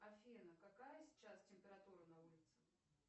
афина какая сейчас температура на улице